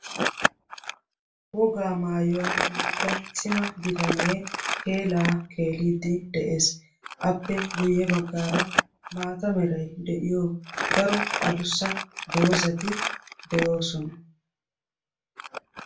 wogaa maayuwaa maayida cima bitanee keelaa keeliddi de'ees appe guyye baggaara maata meray de'iyo daro a dussa doozati de'oosona.